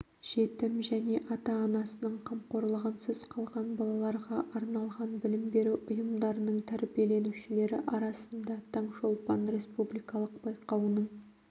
жетім және ата-анасының қамқорлығынсыз қалған балаларға арналған білім беру ұйымдарының тәрбиеленушілері арасында таңшолпан республикалық байқауының